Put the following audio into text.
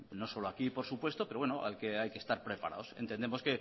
no solo aquí por supuesto pero bueno hay que estar preparados entendemos